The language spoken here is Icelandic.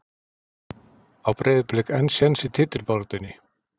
Á Breiðablik enn séns í titilbaráttunni?